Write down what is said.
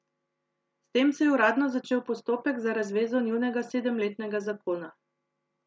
S tem se je uradno začel postopek za razvezo njunega sedemletnega zakona.